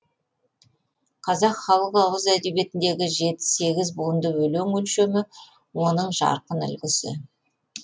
қазақ халық ауыз әдебиетіндегі жеті сегіз буынды өлең өлшемі оның жарқын үлгісі